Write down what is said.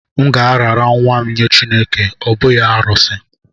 M ga-arara nwa m nye Chineke, ọ bụghị arụsị